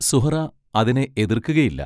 സുഹ്റാ അതിനെ എതിർക്കുകയില്ല.